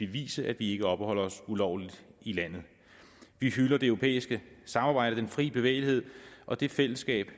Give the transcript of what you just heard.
bevise at vi ikke opholder os ulovligt i landet vi hylder det europæiske samarbejde og den frie bevægelighed og det fællesskab